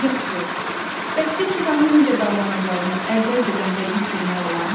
Yaxşı, bəs bir insanın necə davranacağını əvvəlcədən dəqiq bilmək olarmı?